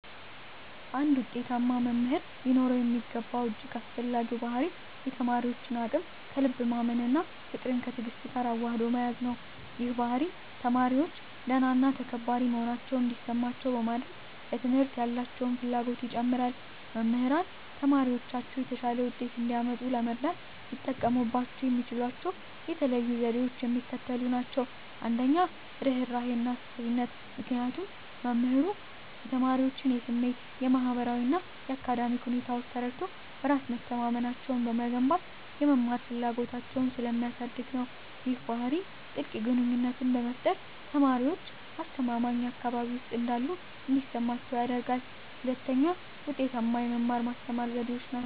አንድ ውጤታማ መምህር ሊኖረው የሚገባው እጅግ አስፈላጊው ባሕርይ የተማሪዎችን አቅም ከልብ ማመን እና ፍቅርን ከትዕግስት ጋር አዋህዶ መያዝ ነው። ይህ ባሕርይ ተማሪዎች ደህና እና ተከባሪ መሆናቸውን እንዲሰማቸው በማድረግ፣ ለትምህርት ያላቸውን ፍላጎት ይጨምራል። መምህራን ተማሪዎቻቸው የተሻለ ውጤት እንዲያመጡ ለመርዳት ሊጠቀሙባቸው የሚችሏቸው የተለዩ ዘዴዎች የሚከተሉት ናቸው - 1, ርህራሄና አሳቢነት -ምክንያቱም መምህሩ የተማሪዎቹን የስሜት፣ የማህበራዊ እና የአካዳሚክ ሁኔታዎች ተረድቶ፣ በራስ መተማመናቸውን በመገንባት የመማር ፍላጎታቸውን ስለሚያሳድግ ነው። ይህ ባህሪ ጥልቅ ግንኙነትን በመፍጠር፣ ተማሪዎች አስተማማኝ አካባቢ ውስጥ እንዳሉ እንዲሰማቸው ያደርጋል። 2, ውጤታማ የመማር-ማስተማር ዘዴዎች